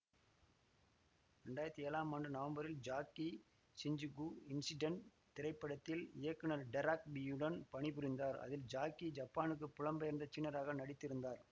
இரண்டாயிரத்தி ஏழாம் ஆண்டு நவம்பரில் ஜாக்கி ஷிஞ்சுகு இன்சிடெண்ட் திரைப்படத்தில் இயக்குநர் டெராக் யீயுடன் பணிபுரிந்தார் அதில் ஜாக்கி ஜப்பானுக்கு புலம் பெயர்ந்த சீனராக நடித்திருந்தார்